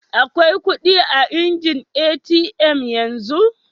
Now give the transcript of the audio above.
Akwai kudi a'injin ATM yanzu?